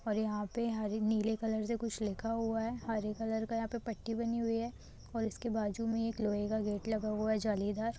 और यहां पे हरे नीले कलर से कुछ लिखा हुआ है हरे कलर का यहां पे पट्टी बनी हुई है और इसके बाजू में एक लोहे का गेट लगा हुआ है जालीदार।